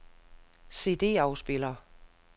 CD-afspiller